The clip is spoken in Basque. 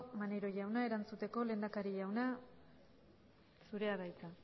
mareiro jauna erantzuteko lehendakari jauna zurea da hitza